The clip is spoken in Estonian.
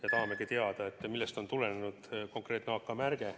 Me tahame teada, millest on tulenenud konkreetne AK-märge.